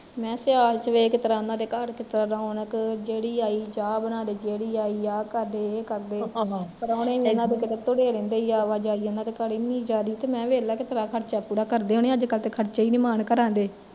ਮੈਂ ਕਿਹਾ ਸਿਆਲ ਚ ਵੇਖ ਕਿਸਤਰਾਂ ਉਹਨਾਂ ਦੇ ਘਰ ਕਿਸਤਰਾਂ ਰੋਣਕ ਜਿਹੜੀ ਆਈ ਚਾਹ ਬਣਾਦੇ ਜਿਹੜੀ ਆਈ ਆਹ ਕਰਦੇ ਯੇ ਕਰਦੇ ਪ੍ਰਾਉਣੇ ਵੇਖਲਾ ਕਿਤੇ ਤੁਰੇ ਰਹਿੰਦੇ ਸੀ ਓਹਨਾਂ ਦੇ ਘਰ ਏਨੀ ਆਵਾਜਾਈ, ਮੈਂ ਕਿਹਾ ਦੇਖਲਾ ਕਿਸਤਰਾਂ ਖਰਚਾ ਪੂਰਾ ਕਰਦੇ ਹੋਣੇ ਅੱਜ ਕੱਲ ਤੇ ਖਰਚੇ ਨੀ ਮਾਣ ਘਰਾ ਦੇ